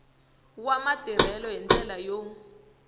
wa matirhelo hi ndlela yo